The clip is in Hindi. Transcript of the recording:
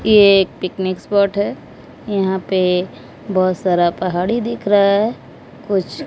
ये एक पिकनिक स्पॉट है यहां पे बहोत सारा पहाड़ी दिख रहा है कुछ--